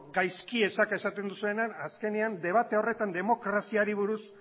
gaizki esak esaten duzuenean azkenean debate horretan demokraziari buruz